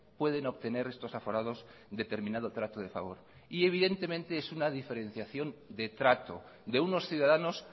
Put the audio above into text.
pueden obtener estos aforados determinado trato de favor y evidentemente es una diferenciación de trato de unos ciudadanos